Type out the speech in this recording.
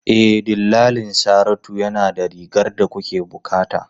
E, dillalin Saratu yana da rigar da kuke bukata.